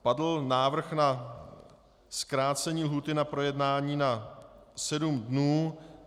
Padl návrh na zkrácení lhůty na projednání na sedm dnů.